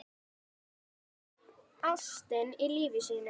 Ástina í lífi sínu.